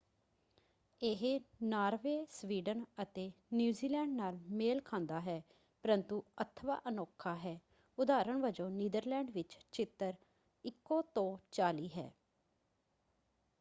ਇਹ Norway Sweden ਅਤੇ New Zealand ਨਾਲ ਮੇਲ ਖਾਂਦਾ ਹੈ ਪਰੰਤੂ ਅਥਵਾਂ ਅਨੋਖਾ ਹੈ ਉਦਾਹਰਨ ਵੱਜੋਂ ਨੀਦਰਲੈਂਡ ਵਿੱਚ ਚਿੱਤਰ ਇਕੋ ਤੋਂ ਚਾਲੀ ਹੈ।